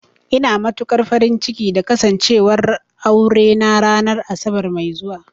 Ina matukar farin ciki da Kasancewar aurena ranar Asabar mai zuwa